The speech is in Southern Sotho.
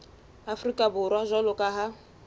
afrika borwa jwalo ka ha